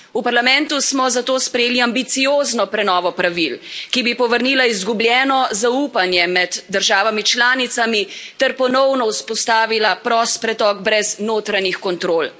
V Parlamentu smo zato sprejeli ambiciozno prenovo pravil, ki bi povrnila izgubljeno zaupanje med državami članicami ter ponovno vzpostavila prost pretok brez notranjih kontrol.